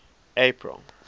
april